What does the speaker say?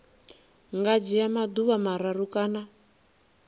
nga dzhia maḓuvha mararu kana